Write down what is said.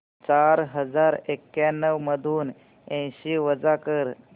चार हजार एक्याण्णव मधून ऐंशी वजा कर